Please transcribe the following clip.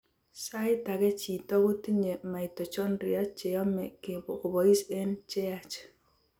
Saait ake chiito kotinye mitochondria cheyomee kobois eng' cheyaach